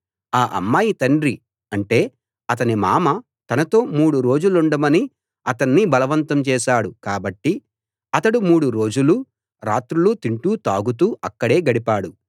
ఆ అమ్మాయి తండ్రి అంటే అతని మామ తనతో మూడు రోజులుండమని అతణ్ణి బలవంతం చేశాడు కాబట్టి అతడు మూడు రోజులూ రాత్రులూ తింటూ తాగుతూ అక్కడే గడిపాడు